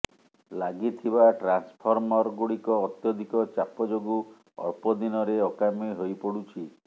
ଲାଗିଥିବା ଟ୍ରାନ୍ସଫର୍ମରଗୁଡିକ ଅତ୍ୟଧିକ ଚାପ ଯୋଗୁଁ ଅଳ୍ପ ଦିନରେ ଅକାମି ହୋଇପଡୁଛି